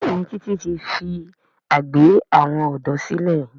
Béèni Titi ti fí àgbè àwọn odò sílè.